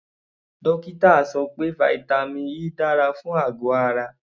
Dókítà sọ pé vitamin E dára fún àgọ̀ ara.